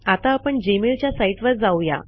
आता आपण जी मेलच्या सीते वर जाऊ या